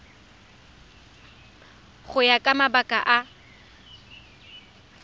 go ya ka mabaka a